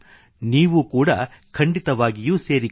ನೀವು ಕೂಡಾ ಖಂಡಿತವಾಗಿಯೂ ಸೇರಿಕೊಳ್ಳಿ